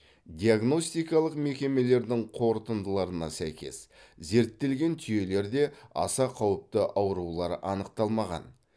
диагностикалық мекемелердің қорытындыларына сәйкес зерттелген түйелерде аса қауіпті аурулар анықталмаған